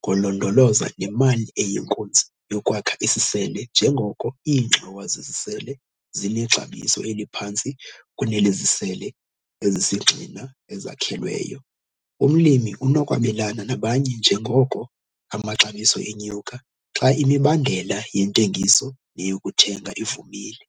ngolondolozo nemali eyinkunzi yokwakha isisele njengoko iingxowa zesisele zinexabiso eliphantsi kunelezisele ezisisigxina ezakhelweyo. Umlimi unokwabelana nabanye njengoko amaxabiso enyuka, xa imibandela yentengiso neyokuthenga ivumile.